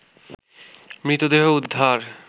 মৃতদেহ উদ্ধার